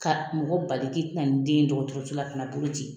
Ka mɔgɔ bali k'i ti na ni den ye dɔgɔtɔrɔso la ka na bolo ci.